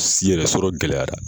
Si yɛrɛ sɔrɔ gɛlɛyara.